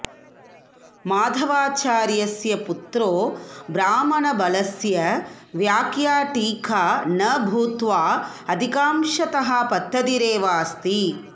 माधवाचार्यस्य पुत्रो ब्राह्मणबलस्य व्याख्या टीका न भूत्वा अधिकांशतः पद्धतिरेवास्ति